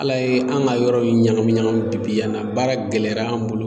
Ala ye an ka yɔrɔ in ɲagami ɲagami bi yan na baara gɛlɛya an bolo.